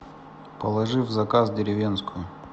положи в заказ деревенскую